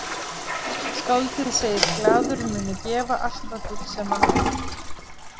Skáldið segist glaður muni gefa allt það gull sem hann á.